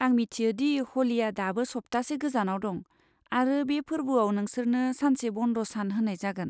आं मिथियो दि ह'लिआ दाबो सप्तासे गोजानाव दं, आरो बे फोर्बोआव नोंसोरनो सानसे बन्द सान होनाय जागोन।